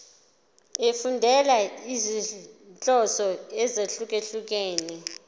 efundela izinhloso ezahlukehlukene